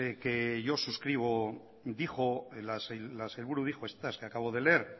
que yo suscribo dijo las que dijo estas que acabo de leer